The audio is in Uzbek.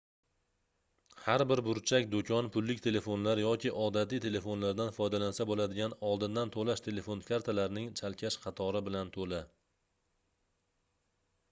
har bir burchak doʻkon pullik telefonlar yoki odatiy telefonlardan foydalansa boʻladigan oldindan toʻlash telefon kartalarining chalkash qatori bilan toʻla